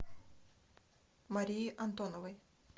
марии антоновой